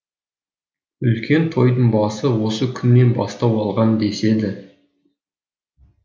үлкен тойдың басы осы күннен бастау алған деседі